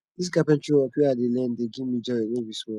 dis carpentry work wey i dey learn dey give me joy no be small